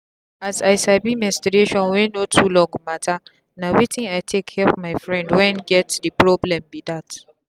as i sabi menstruation wey dey too long matterna wetin i take help my friend when get the problem be that.